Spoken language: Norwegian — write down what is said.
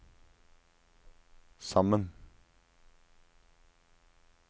sammen